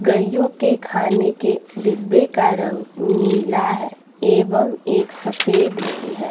गैय्यों के खाने के डिब्बे का रंग नीला है एवं एक सफेद भी है।